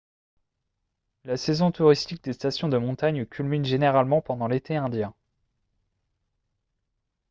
la saison touristique des stations de montagne culmine généralement pendant l'été indien